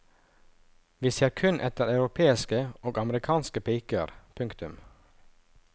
Vi ser kun etter europeiske og amerikanske piker. punktum